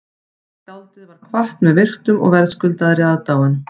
Skáldið var kvatt með virktum og verðskuldaðri aðdáun